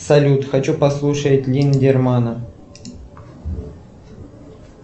салют хочу послушать линдермана